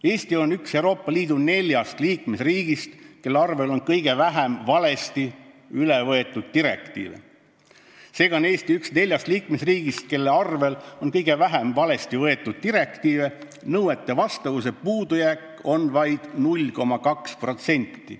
Eesti on üks Euroopa Liidu neljast liikmesriigist, kelle arvel on kõige vähem valesti üle võetud direktiive: nõuetele vastavuse puudujääk on vaid 0,2%.